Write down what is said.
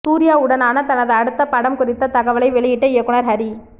சூர்யாவுடனான தனது அடுத்த படம் குறித்த தகவலை வெளியிட்ட இயக்குநர் ஹரி